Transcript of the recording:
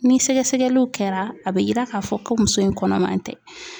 Ni sɛgɛsɛgɛliw kɛra a bɛ yira k'a fɔ ko muso in kɔnɔman tɛ.